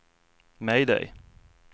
mayday